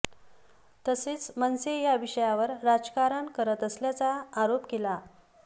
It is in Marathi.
तसंच मनसे या विषयावर राजकारण करत असल्याचा आरोप केला